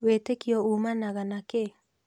Wĩtĩkio ũmanaga na kĩĩ?